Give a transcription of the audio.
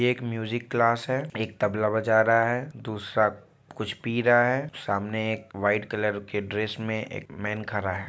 ये एक music class है एक तबला बजा रहा है दूसरा कुछ पी रहा है सामने एक वाईट कलर के ड्रेस में एक मेन खड़ा है।